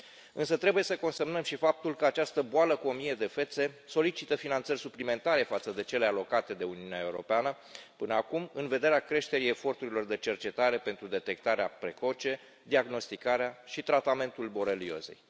Însă trebuie să consemnăm și faptul că această boală cu o mie de fețe solicită finanțări suplimentare față de cele alocate de Uniunea Europeană până acum, în vederea creșterii eforturilor de cercetare pentru detectarea precoce, diagnosticarea și tratamentul boreliozei.